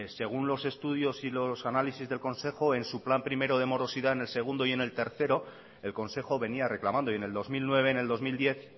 según los estudios y los análisis del consejo en su plan primero de morosidad en el segundo y en el tercero el consejo venía reclamando y en el dos mil nueve en el dos mil diez